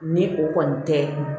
Ni o kɔni tɛ